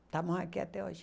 Estamos aqui até hoje.